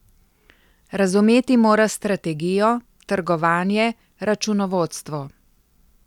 Razumeti moraš strategijo, trgovanje, računovodstvo.